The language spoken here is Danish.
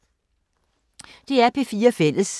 DR P4 Fælles